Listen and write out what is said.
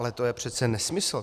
Ale to je přece nesmysl.